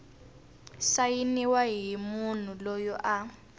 sayiniwa hi munhu loyi a